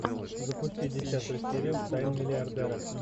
запусти десятую серию тайны миллиардера